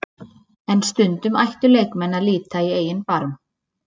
En stundum ættu leikmenn að líta í eigin barm.